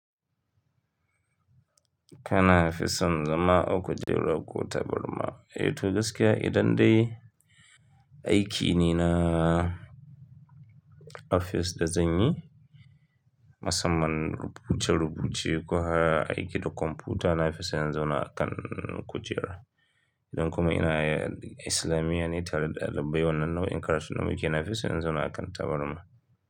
Kana fi son zama a kujera ko tabarma? Eh to, gaskiya idan dai aiki ne na ofis da zanyi, musamman rubuce-rubuce ko aiki da kwamfuta nafison in zauna akan kujera. Idan kuma ina yin islamiya ne tare da ɗalibai wannan nau'in karatu na muke nafison in zauna akan tabarma.